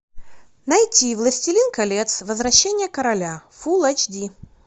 найти властелин колец возвращение короля фул эйч ди